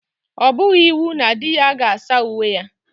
Ọ bụghị iwu na di ya ga saa uwe ya.